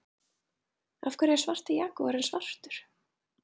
Af hverju er svarti jagúarinn svartur?